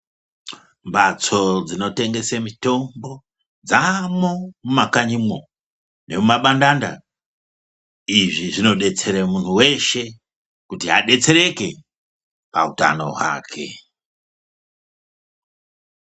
Mhatso dzinotengese mitombo dzaamwo mumakanyimwo nemumabandanda. Izvi zvinodetsere muntu weshe kuti muntu adetsereke pautano hwake.